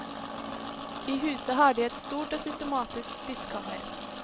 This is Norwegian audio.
I huset har de et stort og systematisk spiskammer.